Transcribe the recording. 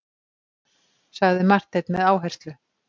sagði Marteinn með áherslu.